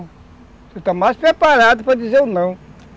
Você está mais preparado para dizer o não.